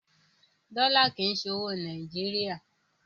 Dọ́là kì í ṣe owó Nàìjíríà.